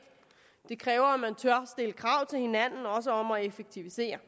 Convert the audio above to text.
det kræver at man tør stille krav til hinanden også om at effektivisere